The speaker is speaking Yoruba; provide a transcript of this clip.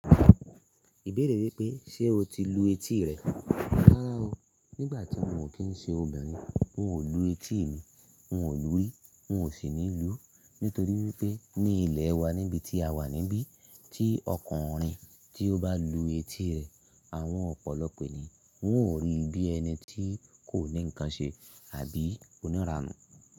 Ìbéèrè wípé ṣe o ti lu etí rẹ? Rárá o, nígbà tí mo kín ṣe obìnrin n ò lu etí mi, n ò lu rí n ò sì ní lú nítorí wípé ní ilè wa níbití a wà níbí tí ọkùnrin tí ó bá lu etí rẹ̀, àwọn ọ̀pọ̀lọpọ̀ ènìyàn ń ò rí bí ẹni tí kò ní nǹkan ṣe àbí onírànú.